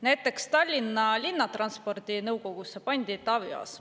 Näiteks Tallinna Linnatranspordi nõukogusse pandi Taavi Aas.